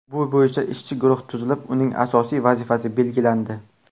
Bu bo‘yicha ishchi guruh tuzilib, uning asosiy vazifalari belgilandi.